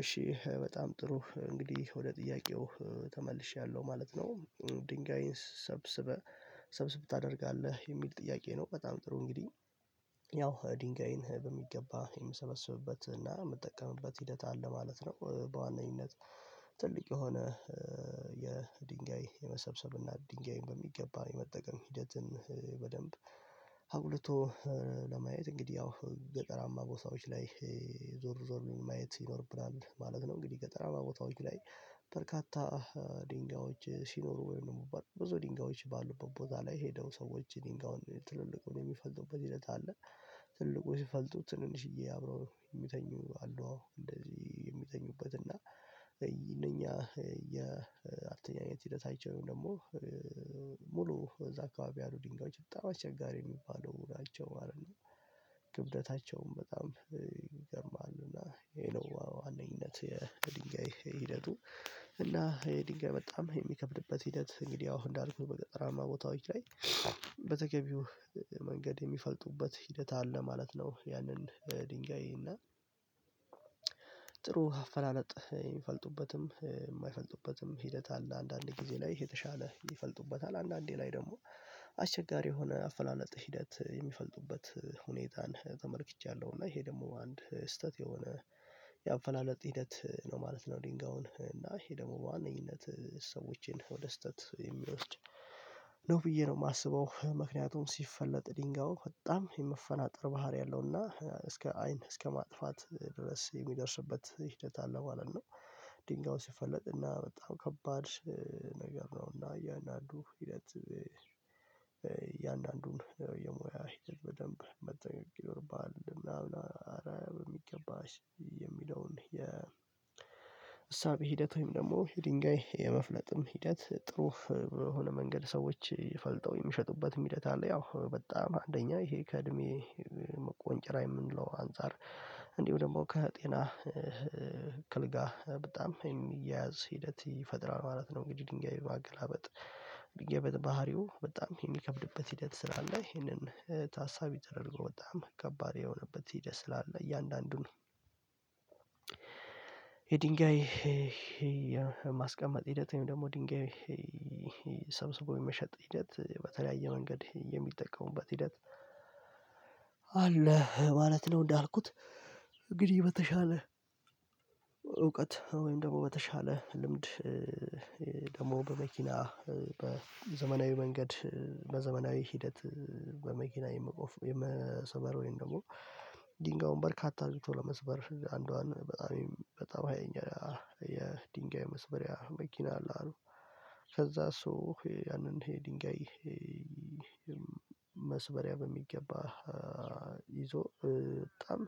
እሺ በጣም ጥሩ እንግዲህ ወደ ጥያቄው ተመልሼያለሁ ማለት ነው። ድንጋይን ሰብስበህ ሰብስብ ታደርጋለህ የሚል ጥያቄ ነው። በጣም ጥሩ እንግዲህ ያው ድንጋይን በሚገባ የምሰበስብበትና የምጠቀምበት ሂደት አለ ማለት ነው። በዋናኝነት ትልቅ የሆነ የድንጋይ የመሰብሰብና ድንጋይን በሚገባ የመጠቀም ሂደትን አጉልቶ ለማየት እንግዲህ ያው ገጠራማ ቦታዎች ላይ ዞር ዞር ብለን ማየት ይኖርብናል ማለት ነው። እንግዲህ ገጠራማ ቦታዎች ላይ በርካታ ድንጋዮች ሲኖሩ ወይም ደግሞ ብዙ ድንጋዮች ባሉበት ቦታ ላይ ሄደው ሰዎች ድንጋዩን ትልልቁን የሚፈልጡበት ሂደት አለ። ትልልቁ ሲፈልጡ ትንንሽዬ አብረው የሚተኙ አሉ እንደዚህ የሚተኙበት እና ይሄ እነኛ ያተኛኝነት ሂደታቸው ወይም ደግሞ ሙሉ እዛ አካባቢ ያሉ ድንጋዮች በጣም አስቸጋሪ የሚባሉ ናቸው ማለት ነው። ክብደታቸውን በጣም ይገርማሉ እና ይሄ ነው አንደኝነት የድንጋይ ሂደቱ። እና የድንጋይ በጣም የሚከብድበት ሂደት እንግዲህ አሁን እንዳልኩት በገጠራማ ቦታዎች ላይ በተገቢው መንገድ የሚፈልጡበት ሂደት አለ ማለት ነው። ያንን ድንጋይ እና ጥሩ አፈላለጥ የሚፈልጡበትም የማይፈልጡበትም ሂደት አለ አንዳንድ ጊዜ ላይ የተሻለ ይፈልጡበታል አንዳንዴ ላይ ደግሞ አስቸጋሪ የሆነ አፈላለጥ ሂደት የሚፈልጡበት ሁኔታን ተመልክቻለሁ እና ይሄ ደግሞ አንድ ስህተት የሆነ ያፈላለጥ ሂደት ነው ማለት ነው። ድንጋዩን እና ይሄ ደግሞ በዋነኝነት ሰዎችን ወደ ስህተት ነው ብዬ ነው የማስበው ምክንያቱም ሲፈለጥ ድንጋዩ በጣም የመፈናጠር ባህሪ አለውና እስከ አይን እስከ ማጥፋት ድረስ የሚደርስበት ሂደት አለ ማለት ነው። ድንጋዩ ሲፈለጥና በጣም ከባድ ነገር ነው እና እያንዳንዱ ሂደት እያንዳንዱን የሞያ ሂደት በደንብ መጠንቀቅ ይኖርብሃል ምናምን አረ በሚገባሽ የሚለውን የእሳቤ ሂደት ወይም ደግሞ የድንጋይ የመፍለጥም ሂደት ጥሩ በሆነ መንገድ ሰዎች ፈልጠው የሚሸጡበት ሂደት አለ። ያው በጣም አንደኛ ይሄ ከእድሜ ቆንጨራ የምንለው አንፃር እንዲሁ ደግሞ ከጤና ከለጋ በጣም የሚያያዝ ሂደት ይፈጥራል ማለት ነው። እንግዲህ ድንጋይ ማገላበጥ ድንጋይ ባህሪው በጣም የሚከብድበት ሂደት ስላለ ይሄንን ታሳቢ ተደርጎ በጣም ከባድ የሆነበት ሂደት ስላለ እያንዳንዱን የድንጋይ የማስቀመጥ ሂደት ወይም ደግሞ ድንጋይ ሰብስቦ የመሸጥ ሂደት በተለያየ መንገድ የሚጠቀሙበት ሂደት አለ ማለት ነው። እንዳልኩት እንግዲህ በተሻለ እውቀት ወይም ደግሞ በተሻለ ልምድ ደግሞ በመኪና በዘመናዊ መንገድ በዘመናዊ ሂደት በመኪና የመቆፍ የመስበር ወይም ደግሞ ድንጋዩን በርካታ አድርጎ ለመስበር አንዷን በጣም በጣም አየኛለሁ የድንጋይ መስበሪያ መኪና አለ አሉ ከዛ እሱ ያንን ድንጋይ መስበሪያ በሚገባ ይዞ በጣም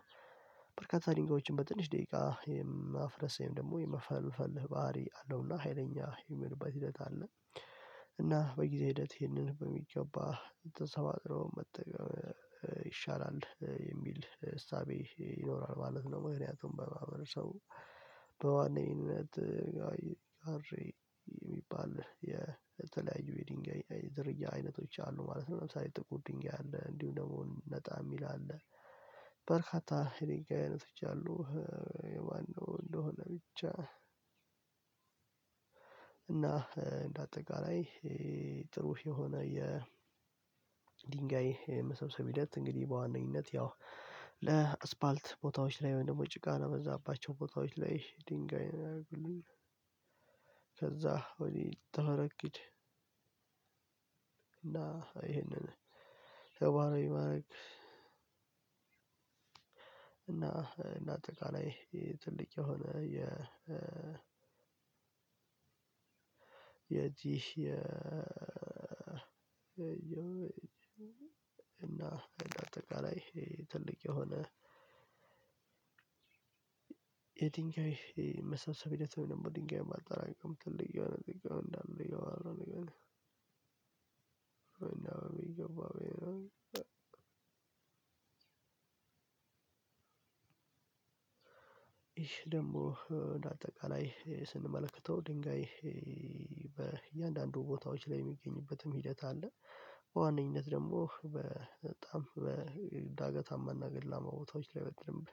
በርካታ ድንጋዮችን በትንሽ ደቂቃ የማፍረስ ወይም ደግሞ የመፈልፈል ባህሪ አለውና ሀይለኛ የሚሆንበት ሂደት አለ እና በጊዜ ሂደት ይህንን በሚገባ ልትሰባጥረው መጠቀም ይሻላል የሚል እሳቤ ይኖራል ማለት ነው። ምክንያቱም በማህበረሰቡ በዋነኝነት የሚባል የተለያዩ የድንጋይ አይነቶች አሉ ማለት ነው። ለምሳሌ ጥቁር ድንጋይ አለ እንዲሁ ደግሞ ነጣ የሚል አለ የድንጋይ አይነቶች አሉ። የማነው እንደሆነ ብቻ እና እንደ አጠቃላይ ጥሩ የሆነ የድንጋይ የመሰብሰቢያ ሂደት እንግዲህ በዋነኝነት ያው ለአስፓልት ቦታዎች ላይ ወይም ደግሞ ጭቃ ነው የበዛባቸው ቦታዎች ላይ ድንጋይ ነው ያደረጉልኝ። ከዛ ወዲህ ተበረግድ እና ይሄንን ተግባራዊ ማድረግ እና እንደ አጠቃላይ ትልቅ የሆነ የ የዚህ የየየእና አጠቃላይ ትልቅ የሆነ የድንጋይ መሰብሰብ ሂደት ወይም ድንጋይ ማጠራቀም ትልቅ የሆነ ድንጋይ እንዳለ ይላሉ ይላሉ። እንደውም ይገባል ይህ ደግሞ በአጠቃላይ ስንመለከተው ድንጋይ በእያንዳንዱ ቦታዎች ላይ የሚገኝበትም ሂደት አለ። በዋነኝነት ደግሞ በጣም በዳገታማና ገደላማ ቦታዎች ላይ በደምብ